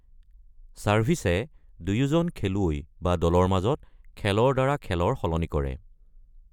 ছাৰ্ভিচে দুয়োজন খেলুৱৈ বা দলৰ মাজত খেলৰ দ্বাৰা খেলৰ সলনি কৰে।